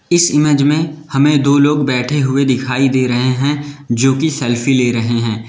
इस इमेज में हमें दो लोग बैठे हुए दिखाई दे रहे हैं जो की सेल्फी ले रहे हैं।